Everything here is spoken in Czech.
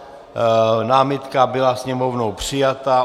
Námitka byla Sněmovnou přijata.